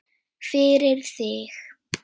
Fyrir þig.